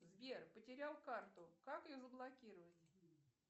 сбер потерял карту как ее заблокировать